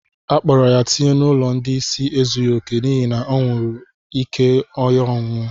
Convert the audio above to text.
Akpọrọ ya tinye n'ụlọ ndị ịsị ezughi oke n'ihi anwuru ike ọ ñụrụ